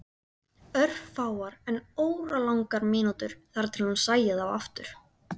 Örfáar en óralangar mínútur þangað til hún sæi þá aftur.